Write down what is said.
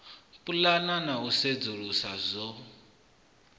pulana na u sedzulusa zwo